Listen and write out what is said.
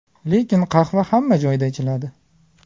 Lekin qahva hamma joyda ichiladi.